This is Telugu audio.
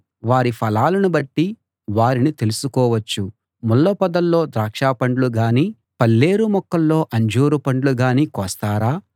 వారి ఫలాలను బట్టి వారిని తెలుసు కోవచ్చు ముళ్ళ పొదల్లో ద్రాక్షపండ్లు గానీ పల్లేరు మొక్కల్లో అంజూరపండ్లు గానీ కోస్తారా